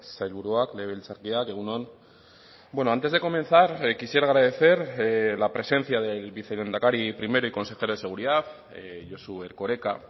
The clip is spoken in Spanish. sailburuak legebiltzarkideak egun on bueno antes de comenzar quisiera agradecer la presencia del vicelehendakari primero y consejero de seguridad josu erkoreka